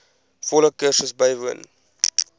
volle kursus bywoon